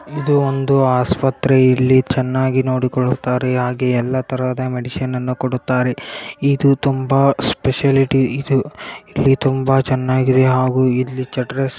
ಇದು ಒಂದು ಆಸ್ಪತ್ರೆ. ಇಲ್ಲಿ ಚೆನ್ನಾಗಿ ನೋಡಿಕೊಳ್ಳುತ್ತಾರೆ ಹಾಗೆ ಎಲ್ಲಾ ತರದ ಮೆಡಿಸನ್ ಮೆಡಿಸನ್ಗಳನ್ನು ಕೊಡುತ್ತಾರೆ. ಇದು ತುಂಬಾ ಫೆಸಿಲಿಟಿ ಇದು ತುಂಬಾ ಚೆನ್ನಾಗಿದೆ ಹಾಗೂ ಇಲ್ಲಿ --